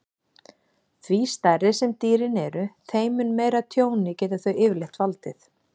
Því stærri sem dýrin eru, þeim mun meira tjóni geta þau yfirleitt valdið.